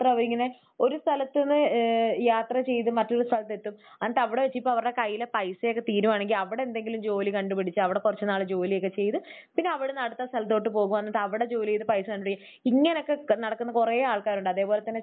അവർ ഇങ്ങനെ ഒരു സ്ഥലത്ത് നിന്ന് ഏഹ് യാത്ര ചെയ്ത് മറ്റൊരു സ്ഥലത്ത് എത്തും. എന്നിട്ട് അവിടെ വെച്ച് ഇപ്പോൾ അവരുടെ കയ്യിലെ പൈസയൊക്കെ തീരുകയാണെങ്കിൽ അവിടെയെന്തെങ്കിലും ജോലി കണ്ടുപിടിച്ച് അവിടെ കുറച്ച് നാൾ ജോലിയൊക്കെ ചെയ്ത് പിന്നെ അവിടെ നിന്ന് അടുത്ത സ്ഥലത്തോട്ട് പോകും എന്നിട്ട് അവിടെ ജോലി ചെയ്ത് പൈസ കൊണ്ടുപോയി... ഇങ്ങനെയൊക്കെ നടക്കുന്ന കുറെ ആൾക്കാരുണ്ട്. അതുപോലെ തന്നെ